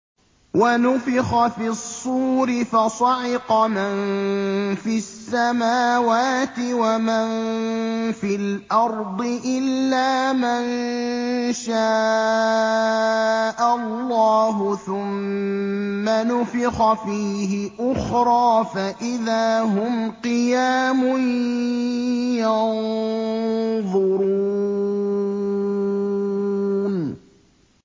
وَنُفِخَ فِي الصُّورِ فَصَعِقَ مَن فِي السَّمَاوَاتِ وَمَن فِي الْأَرْضِ إِلَّا مَن شَاءَ اللَّهُ ۖ ثُمَّ نُفِخَ فِيهِ أُخْرَىٰ فَإِذَا هُمْ قِيَامٌ يَنظُرُونَ